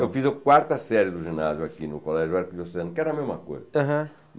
Eu fiz a quarta série do ginásio aqui no Colégio Arquideocesano, que era a mesma coisa.